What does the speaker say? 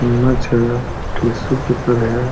चम्मच है tissue paper है।